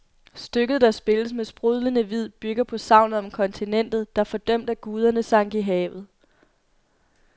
Stykket, der spilles med sprudlende vid, bygger på sagnet om kontinentet, der fordømt af guderne sank i havet.